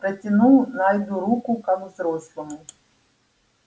протянул найду руку как взрослому